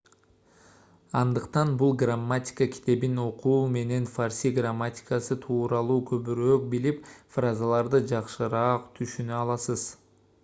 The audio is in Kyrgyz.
андыктан бул грамматика китебин окуу менен фарси грамматикасы тууралуу көбүрөөк билип фразаларды жакшыраак түшүнө аласыз